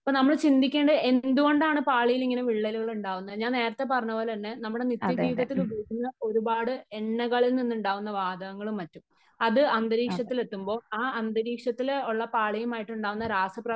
ഇപ്പോൾ നമ്മൾ ചിന്തിക്കേണ്ടത് എന്തുകൊണ്ടാണ് പാളിയിലിങ്ങനെ വിള്ളലുകൾ ഉണ്ടാകുന്നത് ?ഞാൻ നേരത്തെ പറഞ്ഞത് പോലെ തന്നെ നമ്മുടെ നിത്യ ജീവിതത്തില് ഉപയോഗിക്കുന്ന ഒരുപാട് എണ്ണകളിൽ നിന്നുണ്ടാകുന്ന വാതകങ്ങളും മറ്റും . അത് അന്തരീക്ഷരത്തിൽ എത്തുമ്പോ ആ അന്തരീക്ഷത്തില് ഉള്ള പാളിയുമായിട്ട് ഉണ്ടാകുന്ന രാസപ്രവർത്തന